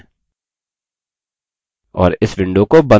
और इस window को बंद करते हैं